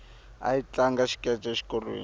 ahi tlanga xikece exikolweni